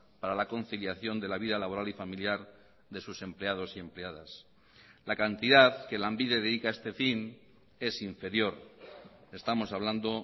para la conciliación de la vida laboral y familiar de sus empleados y empleadas la cantidad que lanbide dedica a este fin es inferior estamos hablando